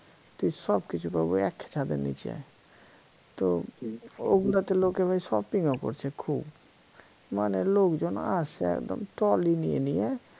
তা সব কিছু পাবো এক ছাদের নিচে তো ওগুলাতে লোকে ভাই shopping ও করছে খুব মানে লোকজন আসে একদম trolly নিয়ে নিয়ে